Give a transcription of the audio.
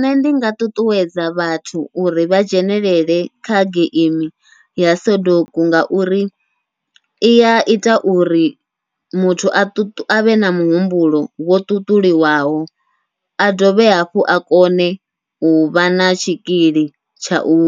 Nṋe ndi nga ṱuṱuwedza vhathu uri vha dzhenelele kha geimi ya soduku, ngauri ia ita uri muthu a ṱu avhe na humbulo wo ṱuṱuliwaho a dovhe hafhu a kone uvha na tshikili tsha u